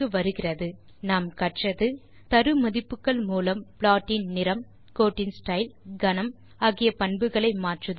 இந்த டியூட்டோரியல் லில் நாம் கற்றது தரு மதிப்புகள் மூலம் ப்ளாட் இன் நிறம் கோட்டின் ஸ்டைல் கனம் ஆகிய பண்புகளை மாற்றுதல்